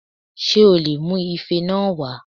Ṣé o lè mu Ife náà wá